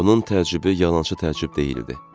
Onun təəccübü yalançı təəccüb deyildi.